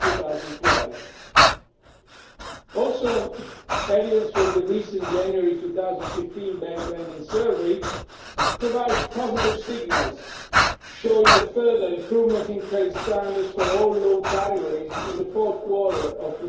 2012. Also, evidence from the recent January 2015 Bank Lending Survey provides positive signals, showing a further improvement in credit standards for all loan categories in the fourth quarter of